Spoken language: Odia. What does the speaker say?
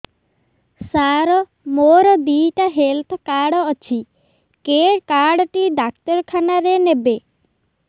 ସାର ମୋର ଦିଇଟା ହେଲ୍ଥ କାର୍ଡ ଅଛି କେ କାର୍ଡ ଟି ଡାକ୍ତରଖାନା ରେ ନେବେ